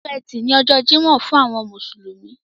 Ọjọ́ ẹtì ni ọjọ́ Jímọ̀ fún àwọn mùsùlùmí.